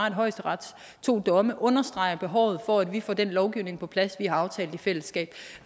at højesterets to domme understreger behovet for at vi får den lovgivning på plads vi har aftalt i fællesskab